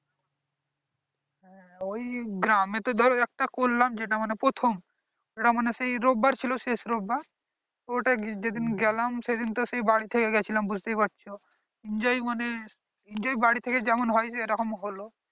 হ্যাঁ ওই গ্রামে তো ধর একটা করলাম যেটা মানে প্রথম এটা মানে সেই রবিবার ছিল শেষ রবিবার ওটাই যে দিন গেলাম সেই দিন তো সেই বাড়ী থেকে যে গিয়েছিলাম বুঝতেই পারছো enjoy মানে enjoy বাড়ী থেকে যেমন হয় সেই রকম হলো